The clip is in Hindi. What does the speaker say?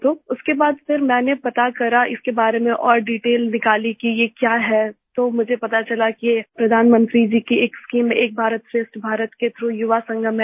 तो उसके बाद फिर मैंने पता करा इसके बारे में और डिटेल निकाली कि ये क्या है तो मुझे पता चला कि ये प्रधानमंत्री जी की एक शीम एक भारतश्रेष्ठ भारत के थ्राउघ युवा संगम है